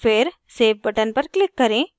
फिर save button पर click करें